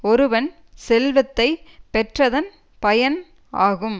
ஒருவன் செல்வத்தை பெற்றதன் பயன் ஆகும்